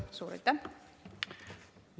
Suur aitäh!